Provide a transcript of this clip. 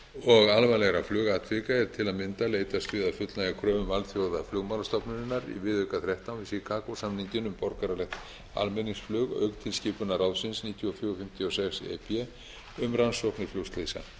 og alvarlegra flugatvika er til að mynda leitast við að fullnægja kröfum alþjóðaflugmálastofnunarinnar í viðauka þrettán við chicago samninginn um borgaralegt almenningsflug auk tilskipunar ráðsins níutíu og fjögur fimmtíu og sex e b um rannsóknir flugslysa